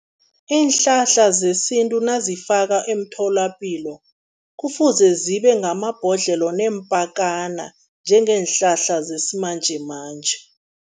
Iinhlahla zesintu nazifaka emtholapilo, kufuze zibe ngamabhodlelo neempakana njengeenhlahla zesimanjemanje.